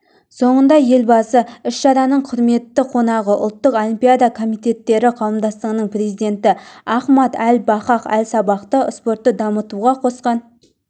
соңында елбасы іс-шараның құрметті қонағы ұлттық олимпиада комитеттері қауымдастығының президенті ахмад әл-фахад әл-сабахты спортты дамытуға қосқан